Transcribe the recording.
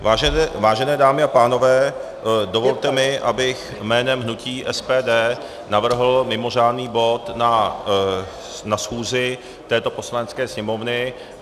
Vážené dámy a pánové, dovolte mi, abych jménem hnutí SPD navrhl mimořádný bod na schůzi této Poslanecké sněmovny.